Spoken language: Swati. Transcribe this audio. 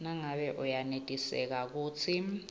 nangabe uyenetiseka kutsi